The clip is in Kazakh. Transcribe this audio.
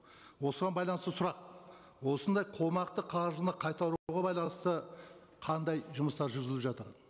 осыған байланысты сұрақ осындай қомақты қаржыны байланысты қандай жұмыстар жүргізіліп жатыр